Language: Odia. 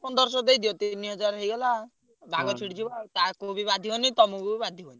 ପନ୍ଦରସହ ଦେଇଦିଅ ତିନିହଜାର ହେଇଗଲା ଆଉ ଭାଗ ଛିଡିଯିବ ଆଉ। ତାଙ୍କୁ ବି ବାଧିବନି ତମୁକୁ ବି ବାଧିବନି।